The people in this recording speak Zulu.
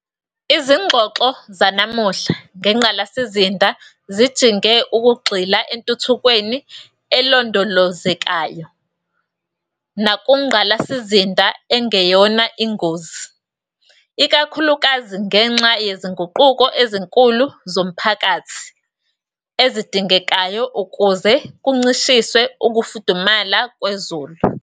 Izingxoxo zanamuhla ngengqalasizinda zijinge ekugxila entuthukweni elondolozekayo nakungqalasizinda engeyona ingozi, ikakhulukazi ngenxa yezinguquko ezinkulu zomphakathi ezidingekayo ukuze kuncishiswe ukufudumala kwezulu.